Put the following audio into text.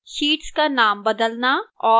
sheets का नाम बदलना और